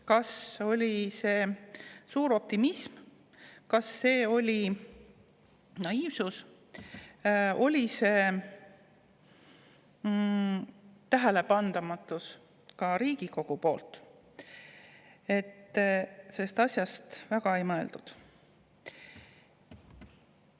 Kas see oli suur optimism, kas see oli liigne naiivsus või oli see tähelepanematus – ka Riigikogu oli tähelepanematu – ja selle asja peale väga ei mõeldud?